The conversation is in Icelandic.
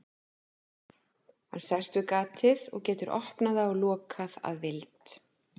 Hann sest við gatið og getur opnað það og lokað að vild.